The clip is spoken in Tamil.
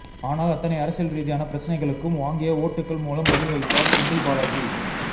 ஆனால் அத்தனை அரசியல்ரீதியான பிரச்சனைகளுக்கும் வாங்கிய ஓட்டுகள் மூலம் பதில் அளித்தார் செந்தில்பாலாஜி